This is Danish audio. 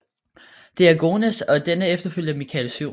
Diogenes og dennes efterfølger Michael 7